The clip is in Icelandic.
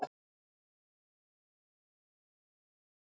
Vá, þetta er mikill heiður.